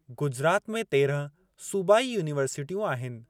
गुजरात में तेरहं सूबाई यूनिवर्सिटियूं आहिनि।